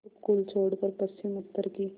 उपकूल छोड़कर पश्चिमउत्तर की